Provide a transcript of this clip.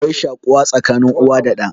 Akwai shaƙuwa tsakanin uwa da ɗa